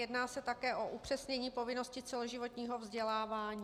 Jedná se také o upřesnění povinnosti celoživotního vzdělávání.